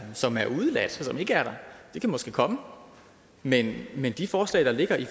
som er udeladt som ikke er der det kan måske komme men men de forslag der ligger i